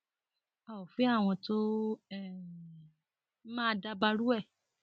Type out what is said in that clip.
a ò fẹ àwọn tó um máa dabarú ẹ